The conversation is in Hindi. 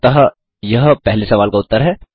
अतः यह पहले सवाल का उत्तर है